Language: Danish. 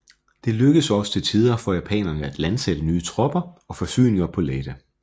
Det lykkedes også til tider for japanerne at landsætte nye tropper og forsyninger på Leyte